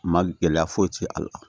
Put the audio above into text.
Ma gɛlɛya foyi ti a la